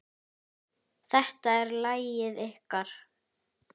Þetta er lagið ykkar.